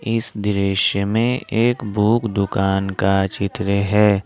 इस दृश्य में एक बुक दुकान का चित्र है।